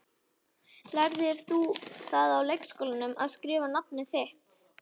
Lærðir þú það í leikskólanum, að skrifa nafnið þitt?